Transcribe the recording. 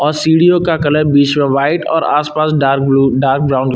और सीढ़ियों का कलर बीच में व्हाइट और आसपास डार्क ब्ल्यू डार्क ब्राउन --